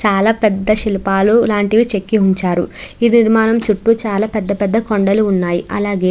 చాల పేద శిల్లుపాలు చెకి ఉంచారు ఈ వివనం చూతు చాల పేద కొండల్ల్లు వున్నాయ్.అలగే--